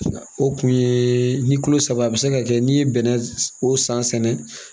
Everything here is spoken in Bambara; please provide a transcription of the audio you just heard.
O kun ye ni kilo saba a bɛ se ka kɛ n'i ye bɛnɛ o san sɛnɛ